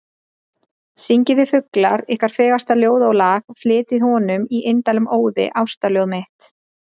Syngið þið fuglar, ykkar fegursta ljóð og lag, flytjið honum, í indælum óði, ástarljóð mitt.